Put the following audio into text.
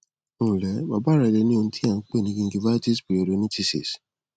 ǹlẹ bàbá rẹ le ní ohun tí à ń pè ní gingivitisperiodontitis